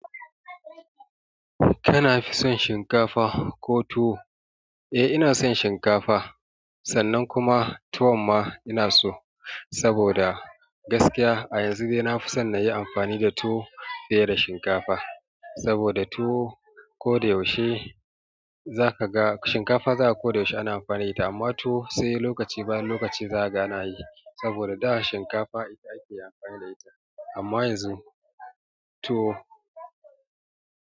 Kana fi son shinkafa ko tuwo. Eh ina son shinkafa sannan kuma tuwon ma ina so saboda gaskiya a yanzu dai na fi son na yi amfani da tuwo fiye da shinkafa saboda tuwo ko da yaushe za ka ga shinkafa za ga ko yaushe ana amfani da ita amma tuwo sai lokaci bayan lokaci za ga ana yi saboda da shinkafa ita ake amfani da ita amma yanzu tuwo.